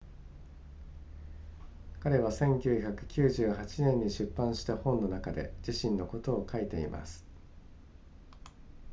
彼は1998年に出版した本の中で自身のことを書いています